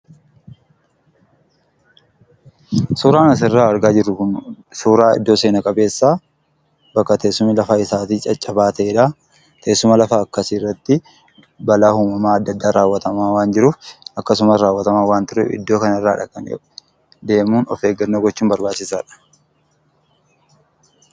Suuraan asirraa argaa jirru Kun, suuraa iddoo seenaa qabeessa , bakka teessumni lafa isaatii caccabaa ta'edha. Teessuma lafaa akkasii irratti balaa uumamaa addaa addaa raawwatamaa waan jiruuf akkasumas raawwatamaa waan tureef iddoo kana irraa dhaqanii deemuun of eeggannoo gochuun baayyee barbaachisaadha.